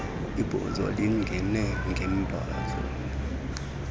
ibhozo lingene ngemphazamo